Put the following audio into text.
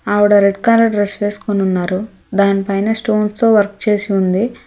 ఆవిడ red colour dress వేసుకుని ఉన్నారు దానిపైన స్టోన్స్ తో వర్క్ చేసి ఉంది.